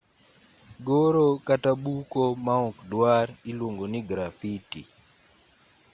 goro kata buko maokdwar iluongo ni grafiti